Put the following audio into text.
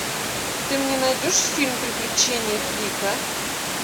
ты мне найдешь фильм приключения флика